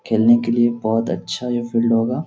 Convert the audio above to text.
खेलने के लिए बहुत अच्छा ये फील्ड होगा --